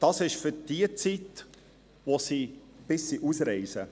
Das gilt für die Zeit, bis sie ausreisen.